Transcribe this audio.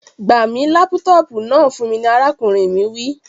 Gba mi laputopu náà fun mi ni arakunrin mi wi.